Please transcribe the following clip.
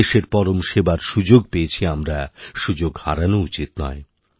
দেশের পরম সেবার সুযোগ পেয়েছি আমরা সুযোগ হারানো উচিৎনয়